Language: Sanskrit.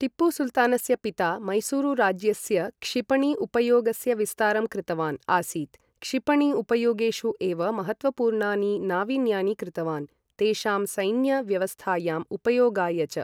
टीपुसुल्तानस्य पिता मैसूरु राज्यस्य क्षिपणी उपयोगस्य विस्तारं कृतवान् आसीत्, क्षिपणी उपयोगेषु एव महत्त्वपूर्णानि नावीन्यानि कृतवान्, तेषां सैन्य व्यवस्थायां उपयोगाय च।